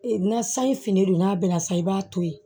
Ee na sanji fini don n'a bɛnna sa i b'a to yen